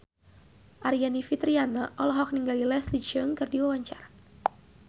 Aryani Fitriana olohok ningali Leslie Cheung keur diwawancara